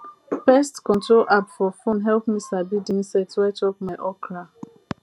pest control app for phone help me sabi di insect wey chop my okra